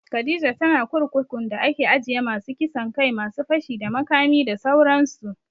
Khadijah tana kurkukun da ake ajiye masu kisan kai, masu fashi da makami da sauran su